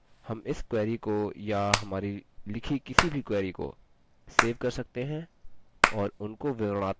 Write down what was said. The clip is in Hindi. हम इस query को या हमारी लिखी किसी भी query को सेव कर सकते हैं और उनको विवरणात्मक names we सकते हैं